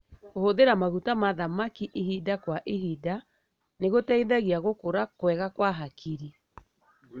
Kũhũthira maguta ma thamaki ihinda kwa ihinda nĩgũteithagia gũkũra kwega kwa hakiri.